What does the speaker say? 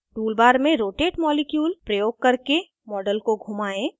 * tool bar में rotate molecule प्रयोग करके model को घुमाएं